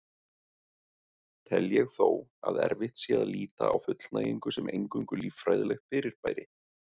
Tel ég þó að erfitt sé að líta á fullnægingu sem eingöngu líffræðilegt fyrirbæri.